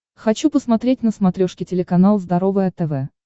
хочу посмотреть на смотрешке телеканал здоровое тв